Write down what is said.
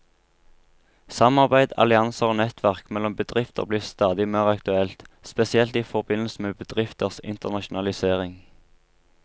Samarbeid, allianser og nettverk mellom bedrifter blir stadig mer aktuelt, spesielt i forbindelse med bedrifters internasjonalisering.